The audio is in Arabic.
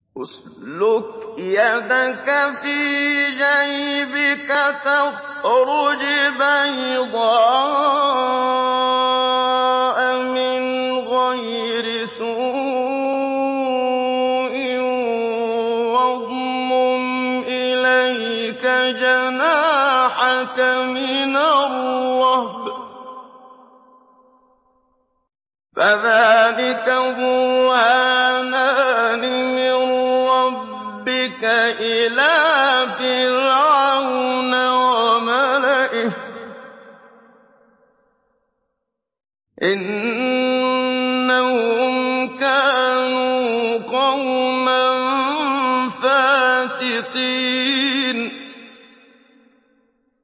اسْلُكْ يَدَكَ فِي جَيْبِكَ تَخْرُجْ بَيْضَاءَ مِنْ غَيْرِ سُوءٍ وَاضْمُمْ إِلَيْكَ جَنَاحَكَ مِنَ الرَّهْبِ ۖ فَذَانِكَ بُرْهَانَانِ مِن رَّبِّكَ إِلَىٰ فِرْعَوْنَ وَمَلَئِهِ ۚ إِنَّهُمْ كَانُوا قَوْمًا فَاسِقِينَ